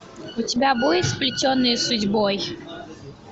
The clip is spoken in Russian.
у тебя будет сплетенные судьбой